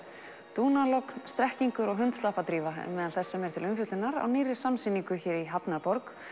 dúnalogn strekkingur og hundslappadrífa er meðal þess sem er til umfjöllunar á nýrri samsýningu hér í hafnarborg